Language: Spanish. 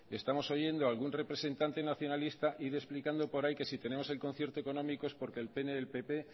estamos oyendo algún representante nacionalista ir explicando por ahí que si tenemos el concierto económico es porque el pp